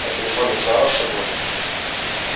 а телефон не взяла с собой